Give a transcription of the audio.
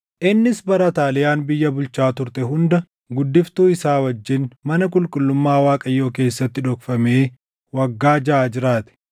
Innis bara Ataaliyaan biyya bulchaa turte hunda guddiftuu isaa wajjin mana qulqullummaa Waaqayyoo keessatti dhokfamee waggaa jaʼa jiraate.